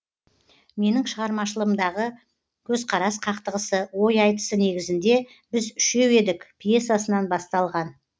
менің шығармашылығымдағы көзқарас қақтығысы ой айтысы негізінде біз үшеу едік пьесасынан басталған